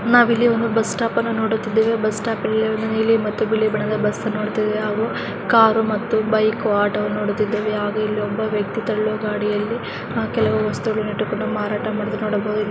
ನಾವಿಲ್ಲಿ ಒಂದು ಬಸ್ಟಾಪ್ ಅನ್ನ ನೋಡುತ್ತಿದ್ದೇವೆ ಬಸ್ ಸ್ಟಾಪ್ ಅಲ್ಲಿ ಒಂದು ನೀಲಿ ಮತ್ತು ಬಿಳಿ ಬಣ್ಣದ ಬಸ್ ಅನ್ನು ನೋಡುತ್ತಿದ್ದೇವೆ ಹಾಗು ಕಾರು ಮತ್ತು ಬೈಕ್ ಆಟೋವನ್ನ ನೋಡುತ್ತಿದ್ದೇವೆ ಇಲ್ಲಿ ಒಬ್ಬ ವ್ಯಕ್ತಿ ತಳ್ಳೋ ಗಾಡಿಯಲ್ಲಿ ಕೆಲವೊಂದು ವಸ್ತುಗಳು ಇಟ್ಟುಕೊಂಡು ಮಾರಾಟಮಾಡೋದನ್ನ ಕಾಣಬಹುದು.